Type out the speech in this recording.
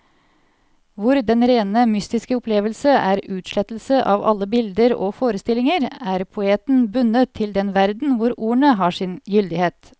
Hvor den rene mystiske opplevelse er utslettelse av alle bilder og forestillinger, er poeten bundet til den verden hvor ordene har sin gyldighet.